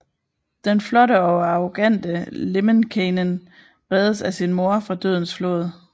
Den flotte og arrogante Lemminkäinen reddes af sin mor fra dødens flod